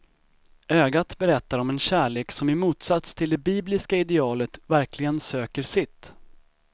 Ögat berättar om en kärlek som i motsats till det bibliska idealet verkligen söker sitt.